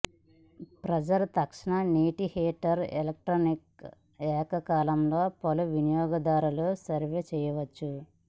pressure తక్షణ నీటి heater electric ఏకకాలంలో పలు వినియోగదారులు సర్వ్ చేయవచ్చు